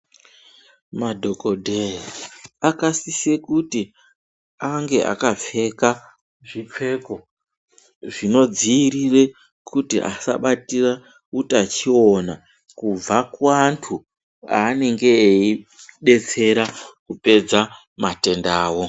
Madhokodheya akasisa kuti ange akapfeka zvipfeko zvinodzivirira kuti asabatwe nehutachiona kubva kuantu anenge eidetsera kupedza matenda awo.